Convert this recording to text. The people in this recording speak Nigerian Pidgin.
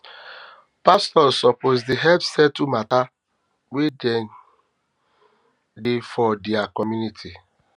pastors suppose dey help settle mata wey dey for their community